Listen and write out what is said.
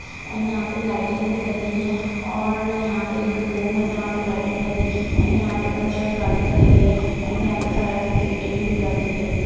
And यहा पे lighting भी लगी है और यहा पे एक रूम है जहा पे लाइटिंग लगी है एण्ड यहा पे कचरा गाड़ी खड़ी है एण्ड यहा पे फायर ब्रीडगेडींग भी लगी है।